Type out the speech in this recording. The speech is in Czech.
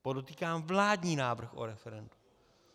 Podotýkám vládní návrh o referendu.